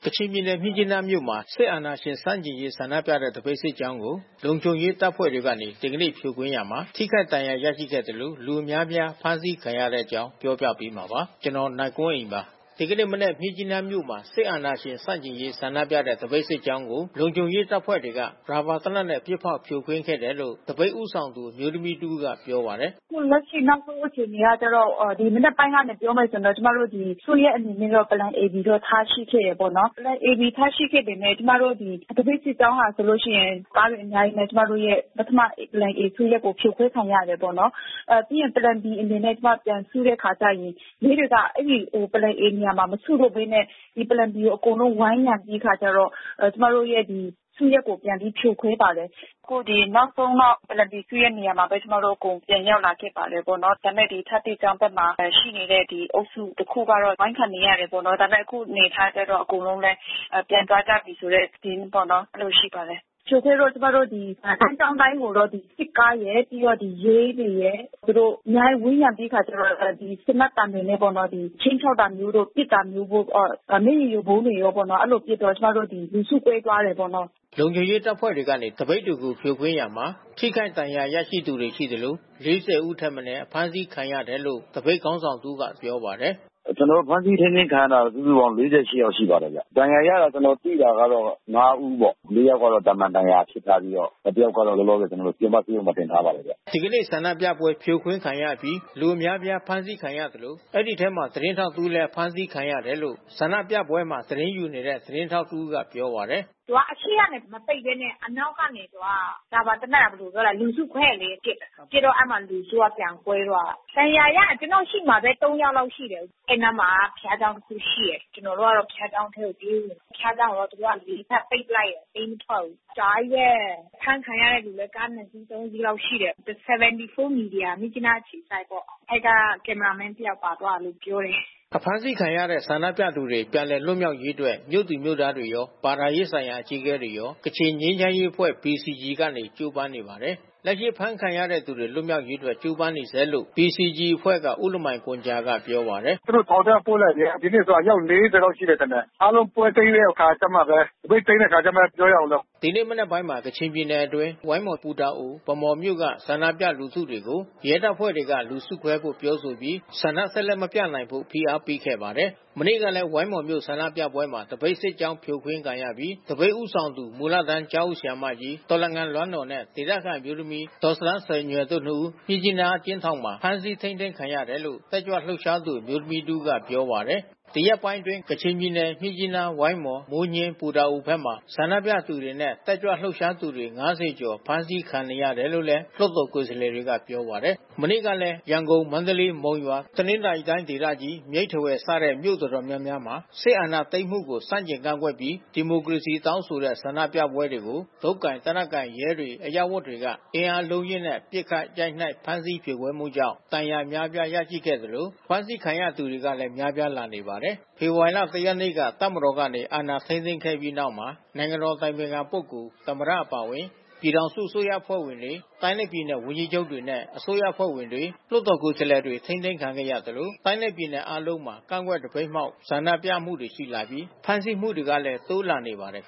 ကချင်ပြည်နယ် မြစ်ကြီးနားမြို့က ဒီကနေ့ စစ်အာဏာရှင်ဆန့်ကျင်ရေး ဆန္ဒပြသပိတ်စစ်ကြောင်းကို လုံခြုံရေးတပ်ဖွဲ့တွေ ဖြိုခွင်းခဲ့ရာမှာ ထိခိုက်ဒဏ်ရာရရှိခဲ့သလို လူအများအပြားဖမ်းဆီးခံခဲ့ကြရပါတယ်။ ဒီအခြေအနေကို ဗွီအိုအေမြန်မာပိုင်း သတင်းထောက် နိုင်ကွန်းအိန် သတင်းပေးပို့ထားပါတယ်။ ဒီကနေ့မနက် မြစ်ကြီးနားမြို့မှာ စစ်အာဏာရှင်ဆန့်ကျင်ရေးဆန္ဒပြသပိတ်စစ်ကြောင်းကို လုံခြုံရေးတပ်ဖွဲ့တွေက ပစ်ဖောက်ဖြိုခွင်းခဲ့တယ်လို့ သပိတ်ဦးဆောင်သူအမျိုးသမီးတဦးကပြောပါတယ်။ “အခုလက်ရှိနောက်ဆုံးအခြေအနေကတော့ ဒီမနက်ပိုင်းကနေပြောမယ်ဆိုရင် ကျမတို့စုရပ်အနေနဲ့ Plan A-B ထားရှိတယ်ပေါ့။ Plan A-B ထားရှိခဲ့ပေမဲ့ သပိတ်စစ်ကြောင်းဆိုလို့ရှိရင် ကားတွေအများကြီးနဲ့ ပထမစုရပ် Plan A ဖြိုခွဲခံရတယ်ပေါ့နော်။ ပြီးရင် Plan B အနေနဲ့ ကျမတို့ပြန်စုတဲ့အခါ ရဲတွေက အဲဒီ Plan A နေရာမှာမစုတော့ဘဲနဲ့ ဒီ Plan B ကို အကုန်လုံး ဝိုင်းရံပြီး ကျမတို့ရဲ့ဒီစုရပ်ကို ပြန်ပြီးဖြိုခွဲပါတယ်။ အခုနောက်ဆုံးတော့ Plan B စုရပ်မှာပဲကျမတို့ အကုန်ပြန်ရောက်လာပါတယ်။ ဒါပေမဲ့ ဒီ အထက ကျောင်းဘက်မှာရှိနေတဲ့အုပ်စုတခုကတော့ အဝိုင်းခံနေရတယ်ပေါ့နော်။ ဒါပေမဲ့ အခုအနေအထားကျတော့လည်း အကုန်လုံးလည်း ပြန်သွားကြပြီ။ အဲဒီလိုရှိပါတယ်။ ဖြိုခွဲတော့ ကျမတို့ ဒီ လမ်းကြောင်းအတိုင်းကိုတော့ စစ်ကားရယ် ပြီးတော့ ရဲတွေရယ်-အများကြီး ဝန်းရံပြီး သေနတ်သံတွေနဲ့ပေါ့နော်- ခြိမ်းခြောက်တာမျိုးတို့၊ ပစ်တာမျိုး။ မျက်ရည်ယိုဗုံးပေါ့နော် အဲဒီလိုပစ်တော့ ကျမ တို့ လူစုကွဲသွားတယ်ပေါ့နော်။” လုံခြုံရေးတပ်ဖွဲ့တွေကနေ သပိတ်တွေကိုဖြိုခွင်းရာမှာ ထိခိုက်ဒဏ်ရာရရှိသူတွေရှိသလို ဦးထက်မနည်းအဖမ်းဆီးခံရတယ်လို့ သပိတ်ခေါင်းဆောင်တဦးက ပြောပာတယ်။ “ဖမ်းဆီးထိန်းသိမ်းခံရတာကတော့ စုစုပေါင်း ယောက်ရှိပါတယ်ဗျ။ ဒဏ်ရာရတာ ကျနော်သိတာ က ဦးပေါ့။ ယောက်ကတော့ သာမန်ဒဏ်ရာထိထားပြီး တယောက်ကတော့ လောလောဆယ်ဆယ် ပြင်ပဆေးရုံမှာတင်ထားပါတယ်။” ဒီနေ့ ဆန္ဒပြပွဲဖြိုခွင်းခံရအပြီး လူအများအပြားဖမ်းဆီးခံရတဲ့အထဲမှာ သတင်းထောက်တဦးလည်း ပါသွားကြောင်း ဆန္ဒပြပွဲမှသတင်းယူနေတဲ့ သတင်းထောက် တဦးကပြောပါတယ်။ “သူက အရှေ့ကနေမပိတ်ဘဲနဲ့ အနောက်ကနေ ရာဘာသေနတ်က လူစုခွဲတယ်လေ ပစ်တယ်။ ပစ်တော့ အဲဒီ လူစုကပြန်ကွဲသွားတယ်။ ကျနော့်ရှေ့မှာပဲ ဒဏ်ရာရသူ ယောက်လောက်ရှိတယ်။ အဲဒီအနားမှာက ဘုရားကျောင်း တခုရှိတယ်။ ကျနော်တို့ကတော့ ဘုရားကျောင်းထဲကိုပြေးဝင်တယ်။ ဘုရားကျောင်းကိုတော့ သူတို့ ဘက် ပိတ်လိုက်တယ်။ ပေးမထွက်ဘူး အကြာကြီးပဲ။ အဖမ်းခံရတဲ့သူတွေကလည်း ကား စီး စီးလောက်ရှိတယ်။ 74 မီဒီယာ မြစ်ကြီးနားအခြေစိုက်ပေါ့။ အဲဒီက ကင်မရာမင်းတယောက်ပါသွားတယ်လို့ ပြောပာတယ်။” အဖမ်းဆီးခံရတဲ့ဆန္ဒပြသူတွေပြန်လည်လွတ်မြောက်ရေးအတွက် မြို့သူမြို့သားတွေရော ဘာသာရေးဆိုင်ရာအကြီးအကဲတွေရော ကချင်ငြိမ်းချမ်းရေးအဖွဲ့ PCG ကပါ ကြိုးပမ်းနေပါတယ်။ လက်ရှိအဖမ်းခံရတဲ့သူတွေ လွတ်မြောက်ရေးအတွက်ကြိုးပမ်းနေဆဲပဲလို့ PCG အဖွဲ့က ဦးလမိုင်ဂွမ်ဂျာကပြောပါတယ်။ “သူတို့ ထောင်ထဲ ပို့လိုက်ပြီ။ ဒီနေ့ အယောက် လောက်ရှိတယ်ထင်တယ်။ အားလုံးပွဲသိမ်းတဲ့အခါကျမှပဲ သပိတ်သိမ်းတဲ့အခါကျမှပဲ ပြောရမယ်။” ဒီနေ့မနက်ပိုင်းမှာ ကချင်ပြည်နယ်တွင်း ဝိုင်းမော်၊ ပူတာအို၊ ဗန်းမော်မြို့က ဆန္ဒပြလူထုတွေကို ရဲတပ်ဖွဲ့ က လူစုခွဲဖို့ ပြောဆိုပြီး ဆက်လက်ဆန္ဒမပြနိုင်ဖို့ ဖိအားပေးခဲ့ပါတယ်။ မနေ့ကလည်း ဝိုင်းမော်မြို့ဆန္ဒပြပွဲမှာ သပိတ်စစ်ကြောင်းဖြိုခွင်းခံရပြီး သပိတ်ဦးဆောင်သူ မူလတန်း ကျောင်းအုပ် ဆရာမကြီး ဒေါ်လငန်လွမ်းနော်နဲ့ ဒေသခံအမျိုးသမီးဒေါ်ဇတန်းဇယ်ညွယ်တို့ နှစ်ဦးကို မြစ်ကြီးနား အကျဉ်းထောင်မှာ ဖမ်းဆီးထိန်းသိမ်းထားတယ်လို့ တက်ကြွလှုပ်ရှားသူအမျိုးသမီးတဦးကပြောပါတယ်။ ဒီရက်ပိုင်းတွေအတွင်း ကချင်ပြည်နယ် မြစ်ကြီးနား၊ ဝိုင်းမော်၊ မိုးညှင်းနဲ့ ပူတာအိုဘက်တွေမှာ ဆန္ဒပြသူတွေနဲ့တက်ကြွလှုပ်ရှားသူတွေ ကျော် အဖမ်းဆီးခံနေရတယ်တယ်လို့ လွှတ်တော်ကိုယ်စားလှယ်တွေကပြောပါတယ်။ မနေ့ကလည်း ရန်ကုန်၊ မန္တလေး၊ မုံရွာ၊ တနင်္သာရီတိုင်းဒေသကြီ၊ မြိတ်နဲ့ ထားဝယ် စတဲ့ မြို့အတော်များများမှာ စစ်အာဏာသိမ်းမှုကို ဆန့်ကျင်ကန့်ကွက်ပြီး ဒီမိုကရေစီတောင်းဆိုတဲ့ဆန္ဒပြပွဲတွေကို တုတ်ကိုင်၊ သေနတ်ကိုင် ရဲတွေ၊ အရပ်ဝတ်တွေက အင်အားအလုံးအရင်းနဲ့ ပစ်ခတ် ရိုက်နှက် ဖမ်းဆီး ဖြိုခွဲမှုကြောင့် ဒဏ်ရာအများပြား ရရှိခဲ့သလို အဖမ်းဆီးခံရတွေလည်း များပြားလာနေပါတယ်။ ဖေဖော်ဝါရီလ ၁ ရက်နေ့က တပ်မတော်ကနေ အာဏာထိန်းသိမ်းခဲ့ပြီးတဲ့နောက်မှာ နိုင်ငံတော်အတိုင်ပင်ခံပုဂ္ဂိုလ်၊ သမ္မတအပါအဝင် ပြည်ထောင်စုအစိုးရအဖွဲ့ဝင်တွေ၊ တိုင်းနဲ့ပြည်နယ်ဝန်ကြီးချုပ်တွေနဲ့ အစိုးရအဖွဲ့ဝင်တွေ၊ လွှတ်တော်ကိုယ်စားလှယ်တွေ ထိန်းသိမ်းခံခဲ့ရသလို တိုင်းနဲ့ပြည်နယ်အားလုံးမှာ ကန့်ကွက်သပိတ်မှောက် ဆန္ဒပြမှုတွေရှိလာပြီး ဖမ်းဆီးမှုတွေလည်း တိုးလာနေပါတယ်